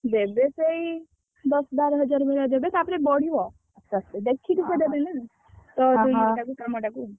ଦେବେ ସେଇ, ଦଶ ବାର ହଜାର ଭଳିଆ ଦେବେ ତାପରେ ବଢିବ ଦେଖିକି ସେ ଦେବେ ନା